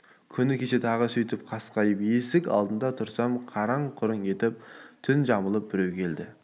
күні кеше тағы да сөйтіп қаскиып есік алдында тұрсам қараң-құраң етіп түн жамылып біреу келеді